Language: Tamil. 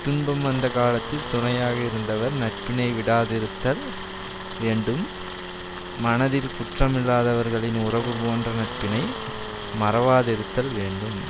துன்பம் வந்த காலத்தில் துணையாக இருந்தவர் நட்பினை விடாதிருத்தல் வேண்டும் மனதில் குற்றமில்லாதவர்களின் உறவுபோன்ற நட்பினை மறவாதிருத்தல் வேண்டும்